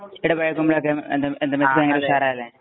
എടാ വെയര്‍ക്കുംബോഴൊക്കെ എന്താ മെസ്സി ഭയങ്കര ഉഷാറായല്ലേ.